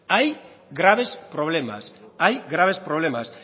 hay graves problemas